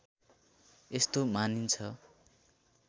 यस्तो मानिन्छ